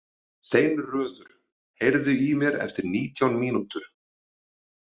Steinröður, heyrðu í mér eftir nítján mínútur.